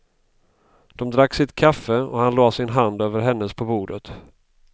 De drack sitt kaffe och han lade sin hand över hennes på bordet.